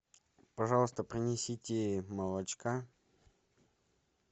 пожалуйста принесите молочка